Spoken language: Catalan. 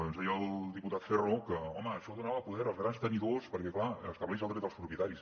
ens deia el diputat ferro que home això donava poder als grans tenidors perquè clar estableix el dret als propietaris